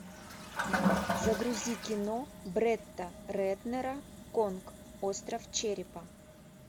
загрузи кино бретта рэтнера конг остров черепа